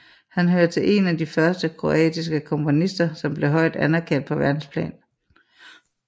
Han hører til en af de første Kroatiske komponister som blev højt anererkendt på Verdensplan